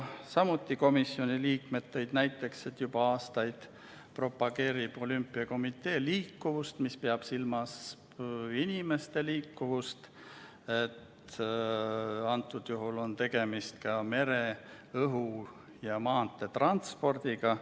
Komisjoni liikmed tõid näiteks, et juba aastaid propageerib olümpiakomitee liikuvust, mis peab silmas inimeste liikuvust, aga antud juhul on tegemist mere-, õhu- ja maanteetranspordiga.